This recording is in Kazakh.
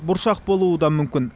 бұршақ болуы да мүмкін